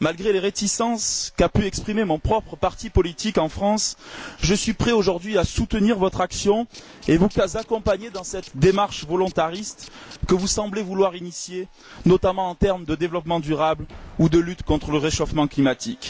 malgré les réticences qu'a pu exprimer mon propre parti politique en France, je suis prêt aujourd'hui à soutenir votre action et à vous accompagner dans cette démarche volontariste que vous semblez vouloir amorcer, notamment en termes de développement durable ou de lutte contre le réchauffement climatique.